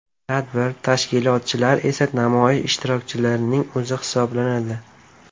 Tadbir tashkilotchilar esa namoyish ishtirokchilarining o‘zi hisoblanadi.